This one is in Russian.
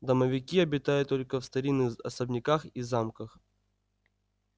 домовики обитают только в старинных особняках и замках